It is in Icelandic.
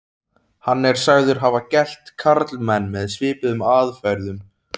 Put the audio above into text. Hann er sagður hafa gelt karlmenn með svipuðum aðferðum.